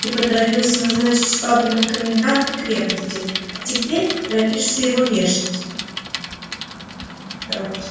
ты поторопился назначить швабрина в коменданты крепости а теперь торопишься его вешать